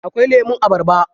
Akwai lemun abarba.